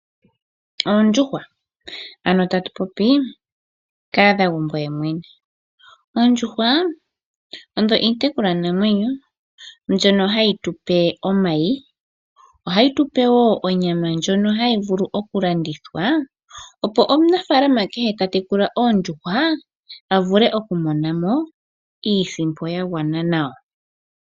Oondjuhwa, ano tatu popi kahadhagumbo yemwene. Oondjuhwa odho iitekulwanamwenyo mbyono hayi tu pe omayi. Ohayi tu pe wo onyama ndjono hayi vulu okulandithwa, opo omunafaalama kehe ta tekula oondjuhwa a vule okumona mo iisimpo ya gwana nawa.